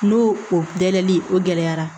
N'o o dɛli o gɛlɛyara